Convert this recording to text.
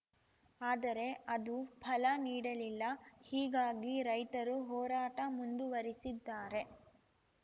ಆದರೆ ಅದು ಫಲ ನೀಡಲಿಲ್ಲ ಹೀಗಾಗಿ ರೈತರು ಹೋರಾಟ ಮುಂದುವರಿಸಿದ್ದಾರೆ